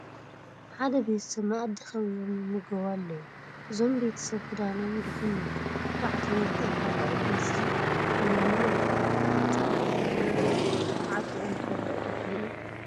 ሓደ ቤተሰብ መኣዲ ከቢቦም ይምገቡ ኣለዉ፡፡ እዞም ቤተሰብ ክዳኖም ድኹም እዩ፡፡ ስርዓቶም ግን ጠንካራ እዩ፡፡ በዚ ሎሚ ኣይኮነን ህፃን ዓብዪ እዃ ተዓጢቑ እንትበልዕ ዶ ትሪኡ?